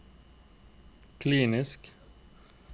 kliniske